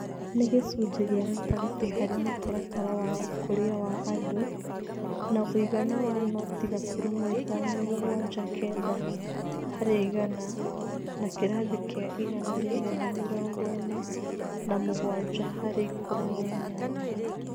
Nĩ gĩcunjĩ kĩa gatagatĩ harĩ Mũtaratara wa Ũkũria wa Andũ, na ũigana wa noti gaturumo ithano mũgwanja kenda harĩ igana na kĩrathi kĩa igana rĩmwe na mĩrongo ĩna na mũgwanja harĩ ikũmi na inyanya.